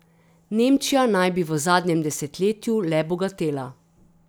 Nemčija naj bi v zadnjem desetletju le bogatela.